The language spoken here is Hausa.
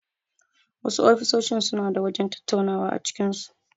Wasu ofisoshin suna da wajen tattaunawa a cikin su.